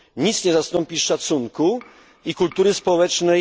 Nic nie zastąpi szacunku i kultury społecznej.